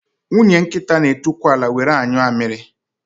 Nwunye nkịta n'etukwu ala were anyụ amịrị